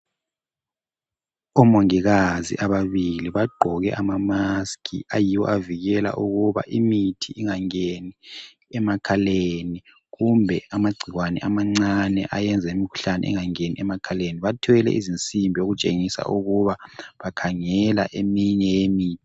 Omongikazi ababili bagqoke amamaskhi ayiwo avikela ukuba imithi ingangeni emakhaleni, kumbe amagcikwane amancane ayenza imikhuhlane ingangeni emakhaleni. Bathwele izinsimbi okutshengisa ukuba bakhangela eminye yemi.